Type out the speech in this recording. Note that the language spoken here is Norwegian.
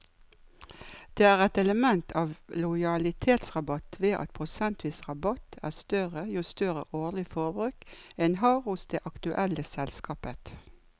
Det er et element av lojalitetsrabatt ved at prosentvis rabatt er større jo større årlig forbruk en har hos det aktuelle selskapet.